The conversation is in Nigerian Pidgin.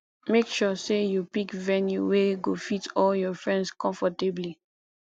make sure say you pick venue wey go fit all your friends comfortably